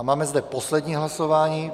A máme zde poslední hlasování.